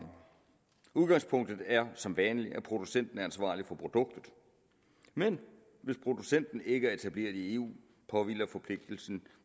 udgangspunktet er som vanlig at producenten er ansvarlig for produktet men hvis producenten ikke er etableret i eu påhviler forpligtelsen